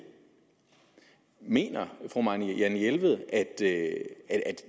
mener fru marianne jelved at